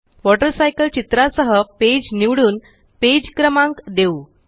water cycle चित्रासह page निवडून page क्रमांक देऊ